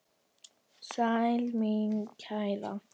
Sæl mín kæra!